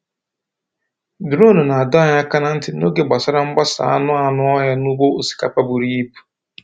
Duronu na-adọ anyị aka ná ntị n’oge gbasara mgbasa anụ anụ ọhịa n’ugbo osikapa buru ibu.